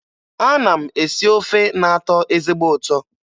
Ana m esi ofe na-atọ ezigbo ụtọ